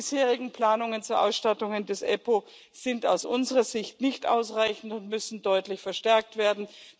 Die bisherigen Planungen zur Ausstattung der EUStA sind aus unserer Sicht nicht ausreichend und müssen deutlich verstärkt werden.